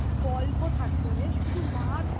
গল্প থাকত রে সুধু মার